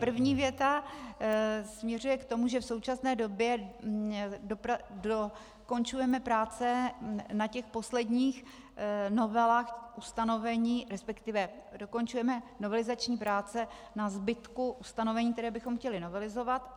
První věta směřuje k tomu, že v současné době dokončujeme práce na těch posledních novelách ustanovení, respektive dokončujeme novelizační práce na zbytku ustanovení, která bychom chtěli novelizovat.